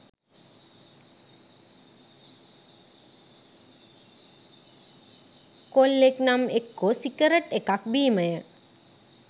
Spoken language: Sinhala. කොල්ලෙක් නම් එක්කෝ සිගරට් එකක් බීමය.